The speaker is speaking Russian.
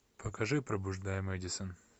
покажи пробуждая мэдисон